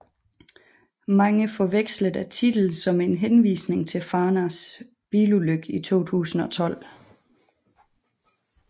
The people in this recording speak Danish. Mange forvekslede titlen som en henvisning til Farnas bilulykke i 2012